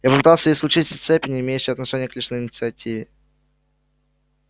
я попытался исключить все цепи не имеющие отношения к личной инициативе